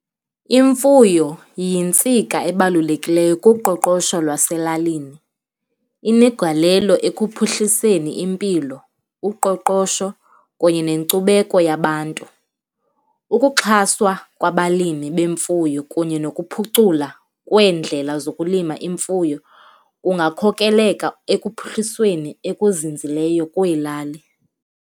Imfuyo yintsika ebalulekileyo kuqoqosho lwaselalini, inegalelo ekuphuhliseni impilo, uqoqosho kunye nenkcubeko yabantu. Ukuxhaswa kwabalimi bemfuyo kunye nokuphucula kweendlela zokulima imfuyo kungakhokelela ekuphuhlisweni okuzinzileyo kweelali.